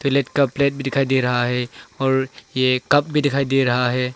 plate का plate दिखाई दे रहा है और ये कप भी दिखाई दे रहा है